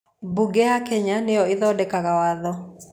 Mbunge ya Kenya nĩyo ĩthondekaga waatho